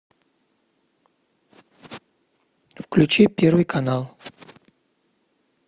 включи первый канал